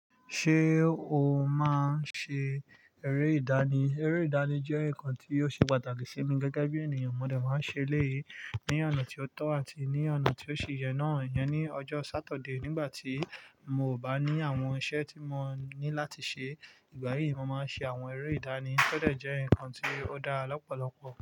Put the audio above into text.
Ṣé o máa ń ṣe eré ìdánì? Eré ìdánì jẹ́ nǹkan tí ó ṣe pàtàkì sí mi gẹ́gẹ́ bí ènìyàn. Mo dẹ̀ máa ń ṣe eléyìí ní ọ̀nà tí ó tọ́ àti ní ọ̀nà tí ó si yẹ náà. Iyẹn ní ọjọ́ Sáturday nígbà tí mò bá ní àwọn iṣẹ́ tí mo ní láti ṣe. Ìgbà yìí mo máa ń ṣe àwọn eré ìdánì. Ó dẹ̀ jẹ́ nǹkan tí ó dára lọ́pọ̀lọpọ̀.